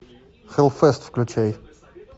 хэллфест включай